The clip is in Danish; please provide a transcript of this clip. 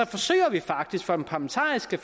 forsøger vi faktisk fra den parlamentariske